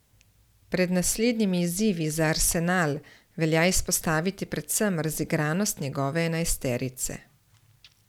Pred naslednjimi izzivi za Arsenal velja izpostaviti predvsem razigranost njegove enajsterice.